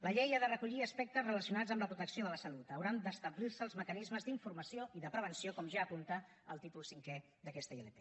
la llei ha de recollir aspectes relacionats amb la protecció de la salut hauran d’establir se els mecanismes d’informació i de prevenció com ja apunta el títol cinquè d’aquesta ilp